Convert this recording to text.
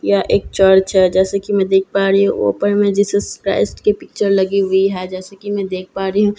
यह एक चर्च है जैसे कि मैं देख पा रही हूँ ऊपर में जीसस क्राइस्ट की पिक्चर लगी हुई है जैसे कि मैं देख पा रही हूँ --